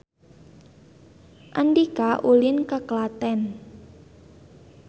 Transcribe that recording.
Andika ulin ka Klaten